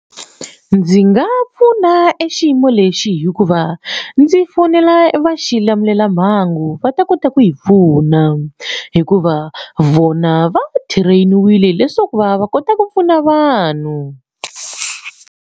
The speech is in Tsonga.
Ndzi nga pfuna e xiyimo lexi hikuva ndzi fonela va xilamulelamhangu va ta kota ku yi pfuna hikuva vona va train-iwile leswaku va va kota ku pfuna vanhu.